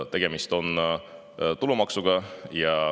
Tegemist on tulumaksuga.